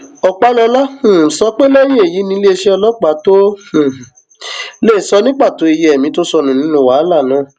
ọpàlọla um sọ pé lẹyìn èyí ni iléeṣẹ ọlọpàá tóo um lè sọ ní pàtó iye ẹmí tó sọnù nínú wàhálà náà